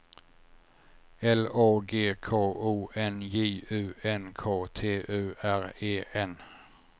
L Å G K O N J U N K T U R E N